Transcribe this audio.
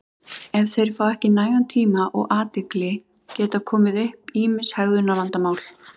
Ef þeir fá ekki nægan tíma og athygli geta komið upp ýmis hegðunarvandamál.